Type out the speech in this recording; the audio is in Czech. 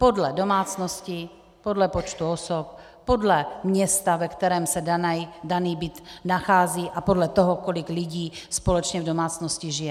Podle domácnosti, podle počtu osob, podle města, ve kterém se daný byt nachází, a podle toho, kolik lidí společně v domácnosti žije.